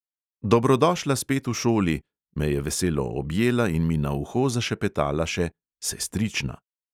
"Dobrodošla spet v šoli," me je veselo objela in mi na uho zašepetala še "sestrična".